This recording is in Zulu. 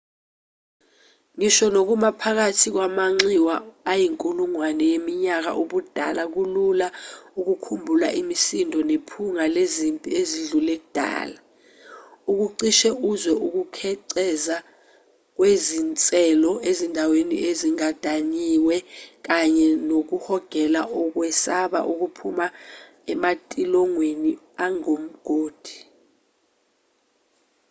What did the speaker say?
ngisho nokuma phakathi kwamanxiwa ayinkulungwane yeminyaka ubudala kulula ukukhumbula imisindo nephunga lezimpi ezidlule kudala ukucishe uzwe ukukhenceza kwezinselo ezindaweni ezigandayiwe kanye nokuhogela ukwesaba okuphuma ematilongweni angumgodi